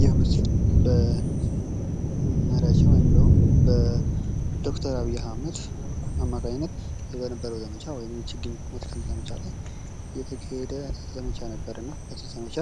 ይህ ምስል በመሪያችን ወይም ደግሞ በዶ/ር አብይ አህመድ አማካኝነት በነበርው ዘማቻ ወይም የችግኝ መትከል ዘመቻ ላይ የተካሄደ ዘመቻ ነበር። እና በዚህ ዘመቻ